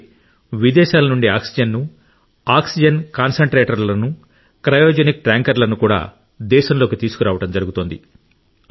అలాగే విదేశాల నుండి ఆక్సిజన్ ను ఆక్సిజన్ కాన్సంట్రేటర్లను క్రయోజెనిక్ ట్యాంకర్లను కూడా దేశంలోకి తీసుకురావడం జరుగుతోంది